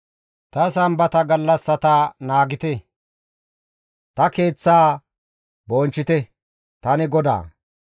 Ta Sambata gallassata naagite; ta keeththaa bonchchite; tani GODAA.